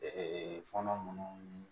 fɔnɔ minnu ni